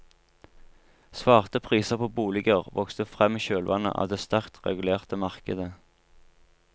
Svarte priser på boliger vokste frem i kjølvannet av det sterkt regulerte markedet.